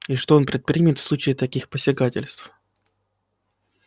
и что он предпримет в случае таких посягательств